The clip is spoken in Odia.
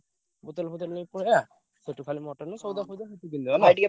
ବୋତଲ ଫୋତଲ ନେଇ ପଳେଇଆ। ସେଠୁ ଖାଲି ମଟନ ନେଇ ସଉଦା ଫଉଦା